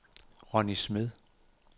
Ronni Smed